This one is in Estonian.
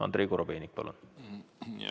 Andrei Korobeinik, palun!